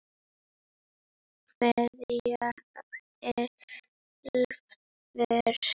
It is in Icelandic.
Kveðja Elfur.